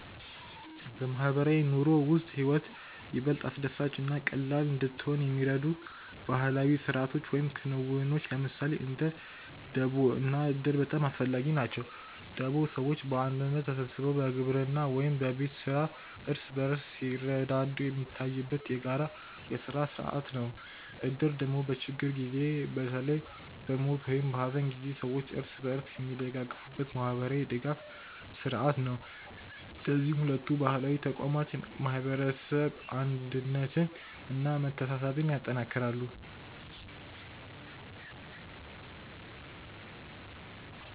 በማህበራዊ ኑሮ ውስጥ ህይወት ይበልጥ አስደሳች እና ቀላል እንድትሆን የሚረዱ ባህላዊ ስርዓቶች ወይም ክንውኖች ለምሳሌ እንደ ደቦ እና እድር በጣም አስፈላጊ ናቸው። ደቦ ሰዎች በአንድነት ተሰብስበው በግብርና ወይም በቤት ስራ እርስ በርስ ሲረዳዱ የሚታይበት የጋራ የስራ ስርዓት ነው። እድር ደግሞ በችግር ጊዜ በተለይ በሞት ወይም በሐዘን ጊዜ ሰዎች እርስ በርስ የሚደጋገፉበት ማህበራዊ ድጋፍ ስርዓት ነው። እነዚህ ሁለቱ ባህላዊ ተቋማት የማህበረሰብ አንድነትን እና መተሳሰብን ያጠናክራሉ።